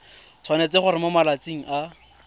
tshwanetse gore mo malatsing a